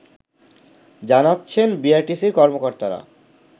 জানাচ্ছেন বিআরটিসির কর্মকর্তারা